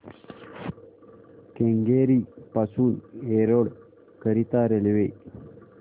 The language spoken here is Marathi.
केंगेरी पासून एरोड करीता रेल्वे